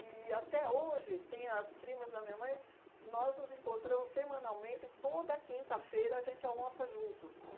E até hoje, tem as primas da minha mãe, nós nos encontramos semanalmente, toda quinta-feira a gente almoça junto.